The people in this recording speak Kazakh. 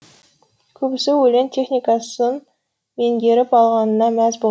көбісі өлең техникасын меңгеріп алғанына мәз болды